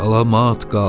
Salamat qal!